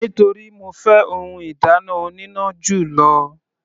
Nítorí mo fẹ́ ohun ìdáná oníná jù lọ.